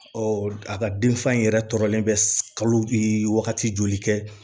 a ka denfa in yɛrɛ tɔɔrɔlen bɛ kalo wagati joli kɛ